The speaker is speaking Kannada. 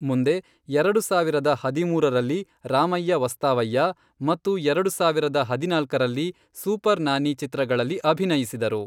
ಮುಂದೆ ಎರಡು ಸಾವಿರದ ಹದಿಮೂರರಲ್ಲಿ ರಾಮಯ್ಯಾ ವಸ್ತಾವಯ್ಯಾ ಮತ್ತು ಎರಡು ಸಾವಿರದ ಹದಿನಾಲ್ಕರಲ್ಲಿ ಸೂಪರ್ ನಾನಿ ಚಿತ್ರಗಳಲ್ಲಿ ಅಭಿನಯಿಸಿದರು.